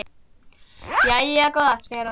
Jæja góða, segir hann.